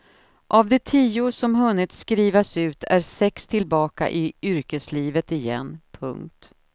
Av de tio som hunnit skrivas ut är sex tillbaka i yrkeslivet igen. punkt